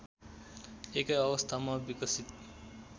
एकै अवस्थामा विकसित